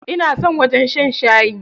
Ina son zuwa wajen shan shayi.